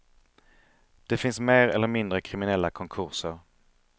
Det finns mer eller mindre kriminella konkurser.